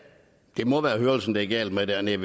det må være hørelsen det er galt med dernede